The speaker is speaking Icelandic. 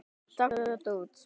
Taktu þetta út